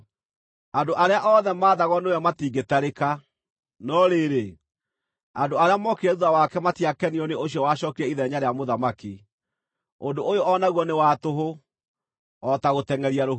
Andũ arĩa othe maathagwo nĩwe matingĩtarĩka. No rĩrĩ, andũ arĩa mookire thuutha wake matiakenirio nĩ ũcio wacookire ithenya rĩa mũthamaki. Ũndũ ũyũ o naguo nĩ wa tũhũ, o ta gũtengʼeria rũhuho.